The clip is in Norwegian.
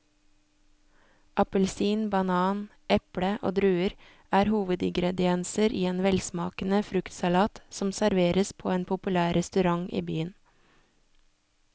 Appelsin, banan, eple og druer er hovedingredienser i en velsmakende fruktsalat som serveres på en populær restaurant i byen.